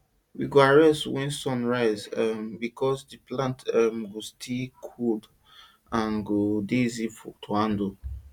we dey go harvest wen sun rise um becos di plants um go still dey cold and go dey easy to handle